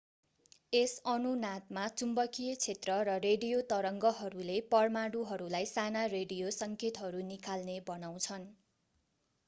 यस अनुनादमा चुम्बकीय क्षेत्र र रेडियो तरङ्गहरूले परमाणुहरूलाई साना रेडियो सङ्केतहरू निकाल्ने बनाउँछन्